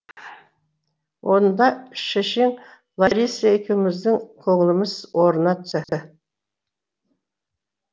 онда шешең лариса екеуіміздің көңіліміз орнына түсті